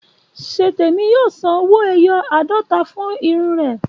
Ṣétèmi yóò san owó-ẹyọ àádọ́ta fún irun rẹ̀